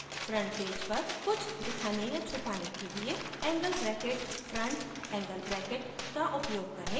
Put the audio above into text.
front page पर कुछ दिखाने या छुपाने के लिए angle bracketfrontangle bracket का उपयोग करें